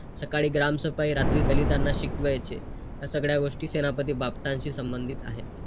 जरी ते चुकले तरी आपण त्यांना समजावं किंवा आपण चुकलं तर ते आपल्याला समजवतील.